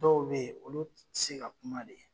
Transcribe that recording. Dɔw bɛ olu tɛse ka kuma de.